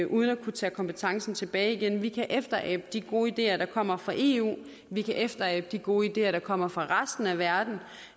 uden at kunne tage kompetencen tilbage igen vi kan efterabe de gode ideer der kommer fra eu vi kan efterabe de gode ideer der kommer fra resten af verden